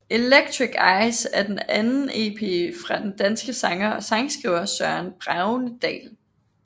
Electric Eyes er den anden EP fra den danske sanger og sangskriver Søren Bregendal